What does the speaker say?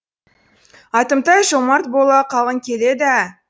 атымтай жомарт бола қалғың келеді ә